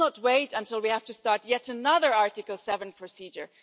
Let's not wait until we have to start yet another Article 7 procedure.